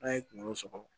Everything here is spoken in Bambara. N'a ye kunkolo sɔgɔ